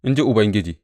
In ji Ubangiji.